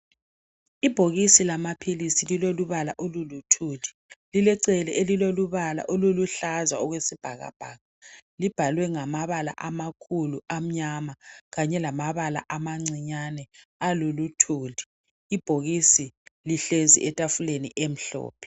Ibhokisi lama philisi lilolubala oluluthuli lilecele elilolubala oluluhlaza okwesibhakabhaka libhalwe ngamabala amakhulu amnyama kanye lamabala amancinyane aluluthuli. Ibhokisi lihlezi etafuleni emhlophe.